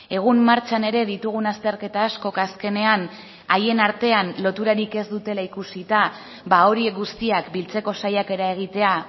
egun martxan ere ditugun azterketa askok azkenean haien artean loturarik ez dutela ikusita horiek guztiak biltzeko saiakera egitea